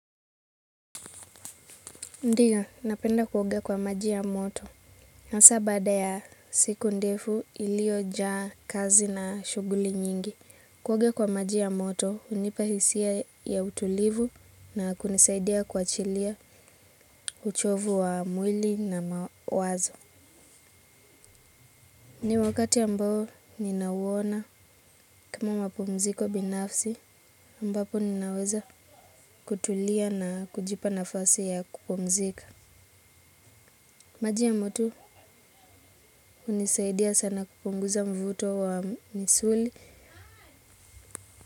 Ndio, napenda kuoga kwa maji ya moto. Hasa baada ya siku ndefu ilio jaa kazi na shuguli nyingi. Kuoga kwa maji ya moto, hunipa hisia ya utulivu na kunisaidia kuachilia uchovu wa mwili na mawazo. Ni wakati ambao ninauona kama mapumziko binafsi, ambapo ninaweza kutulia na kujipa nafasi ya kupumzika. Maji ya moto hunisaidia sana kupunguza mvuto wa misuli.